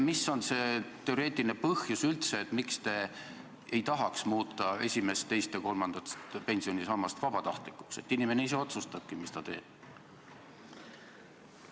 Mis on üldse see teoreetiline põhjus, miks te ei tahaks muuta esimest, teist ja kolmandat pensionisammast vabatahtlikuks, et inimene ise otsustakski, mis ta teeb?